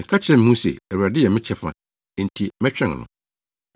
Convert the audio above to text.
Meka kyerɛ me ho se, “ Awurade yɛ me kyɛfa, enti mɛtwɛn no.”